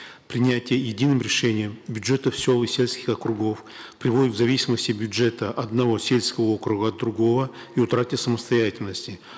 принятие единым решением бюджетов сел и сельских округов приводит к зависимости бюджета одного сельского округа от другого и утрате самостоятельности